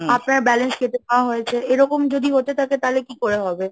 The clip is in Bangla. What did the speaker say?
আপনার balance কেটে দেওয়া হয়েছে, এরকম যদি হতে থাকে তাহলে কি করে হবে?